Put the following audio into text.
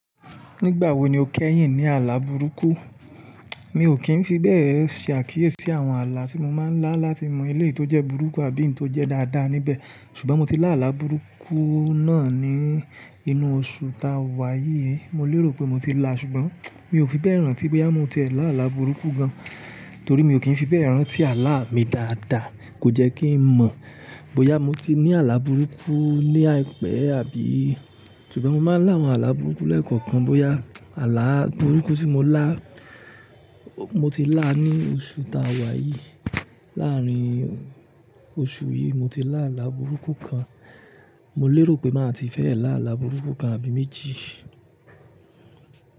Nígbà wo ni o kẹ́yìn ní àlà burúkú? Mi ò kí ń fi bẹ́ẹ̀ ṣàkíyèsí àwọn àlà tí mo máa ń lá láti mọ ilé tó jẹ́ burúkú àbí eyii tó jẹ́ dáadáa níbẹ̀, ṣùgbọ́n mo ti lá àlà burúkú náà ní inú oṣù ta wà yìí. Mo lérò pé mo ti lá, ṣùgbọ́n mi ò fi bẹ́ẹ̀ rántí bóyá mo ti ẹ lá àlà burúkú gan. Torí mi ò kí ń fi bẹ́ẹ̀ rántí àlà mi dáadáa, kò jẹ́ kí ń mọ̀ bóyá mo ti ní àlà burúkú ní àìpẹ́ àbí. Ṣùgbọ́n mo máa ń lá àwọn àlà burúkú lẹ́ẹ̀kọ̀kan, bóyá àlà burúkú tí mo lá, mo ti lá ní oṣù ta wà yìí. Láàárín oṣù yìí, mo ti lá àlà burúkú kan. Mo lérò pé màá ti fẹ́ ẹ lá àlà burúkú kan àbí méjì.